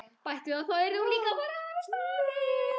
Bætti við að þá yrði hún líka að hafa stafinn.